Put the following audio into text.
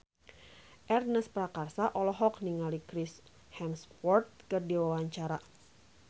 Ernest Prakasa olohok ningali Chris Hemsworth keur diwawancara